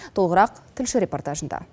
толығырақ тілші репортажында